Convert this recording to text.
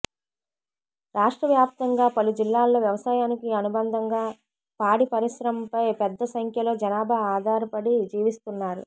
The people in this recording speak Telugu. రాష్ట్రవ్యాప్తంగా పలుజిల్లాల్లో వ్యవసాయానికి అనుబంధంగా పాడి పరిశ్రమపై పెద్దసంఖ్యలో జనాభా ఆధారపడి జీవిస్తున్నారు